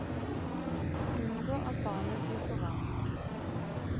Unngå at barnet blir for varmt.